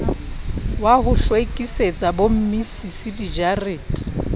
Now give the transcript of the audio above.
wa ho hlwekisetsa bommisisi dijarete